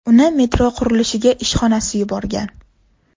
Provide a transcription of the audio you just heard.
Uni metro qurilishiga ishxonasi yuborgan.